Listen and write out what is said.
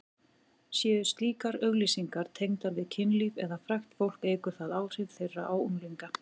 Séu slíkar auglýsingar tengdar við kynlíf eða frægt fólk eykur það áhrif þeirra á unglinga.